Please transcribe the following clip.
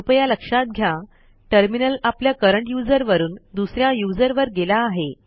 कृपया लक्षात घ्या टर्मिनल आपल्या करंट यूझर वरून दुस या यूझर वर गेला आहे